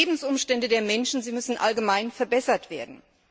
Die Lebensumstände der Menschen müssen allgemein verbessert werden.